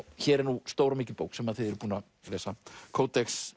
hér er nú stór og mikil bók sem þið eruð búin að lesa